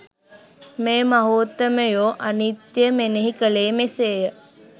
මේ මහෝත්තමයෝ අනිත්‍යය මෙනෙහි කළේ මෙසේය.